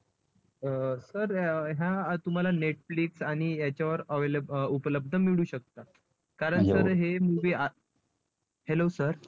अं sir ह्या तुम्हाला netflix आणि याच्यावर उपलब्ध मिळू शकतात. कारण sir हे movie hello sir